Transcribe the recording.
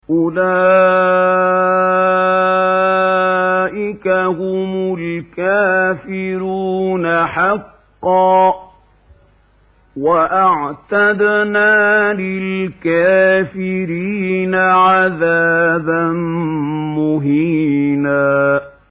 أُولَٰئِكَ هُمُ الْكَافِرُونَ حَقًّا ۚ وَأَعْتَدْنَا لِلْكَافِرِينَ عَذَابًا مُّهِينًا